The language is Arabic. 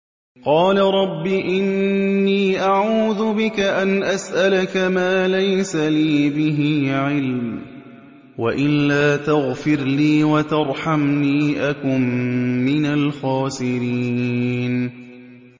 قَالَ رَبِّ إِنِّي أَعُوذُ بِكَ أَنْ أَسْأَلَكَ مَا لَيْسَ لِي بِهِ عِلْمٌ ۖ وَإِلَّا تَغْفِرْ لِي وَتَرْحَمْنِي أَكُن مِّنَ الْخَاسِرِينَ